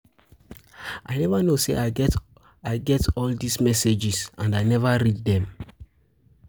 I no know say I get all I get all dis messages and I never read dem